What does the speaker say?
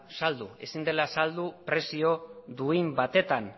saldu prezio duin batetan